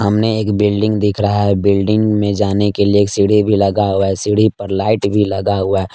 सामने एक बिल्डिंग दिख रहा है बिल्डिंग में जाने के लिए एक सीढ़ी भी लगा हुआ है सीढ़ी पर लाइट भी लगा हुआ --